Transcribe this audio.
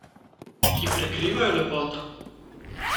Ki prekrivajo lepoto?